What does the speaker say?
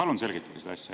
Palun selgitage seda asja.